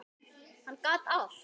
Hann gat allt.